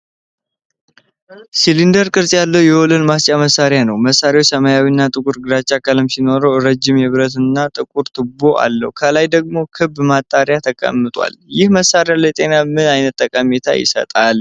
ሲሊንደራዊ ቅርጽ ያለው የወለል ማጽጃ መሣሪያ ነው። መሣሪያው ሰማያዊ እና ጥቁር ግራጫ ቀለም ሲኖረው፣ ረዥም የብረት እና ጥቁር ቱቦ አለው። ከላይ ደግሞ ክብ ማጣሪያ ተቀምጧል። ይህ መሣሪያ ለጤና ምን አይነት ጠቀሜታ ይሰጣል?